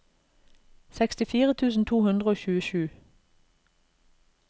sekstifire tusen to hundre og tjuesju